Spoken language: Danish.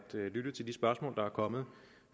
lytte til de spørgsmål der er kommet